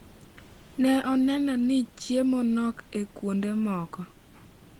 Ne oneno ni chiemo nok e kuonde moko.